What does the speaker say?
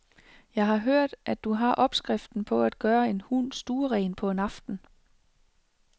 Jeg har hørt, at du har opskriften på at gøre en hund stueren på en aften.